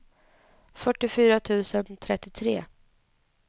fyrtiofyra tusen trettiotre